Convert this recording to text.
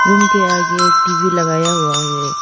Room के आगे एक टी_वी लगाया हुआ है।